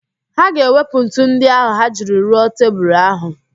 Ha ga-ewepụ ntu ndị ahụ ha jiri rụọ tebulu ahụ